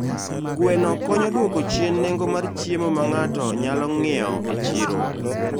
Gweno konyo e dwoko chien nengo mar chiemo ma ng'ato nyalo ng'iewo e chiro.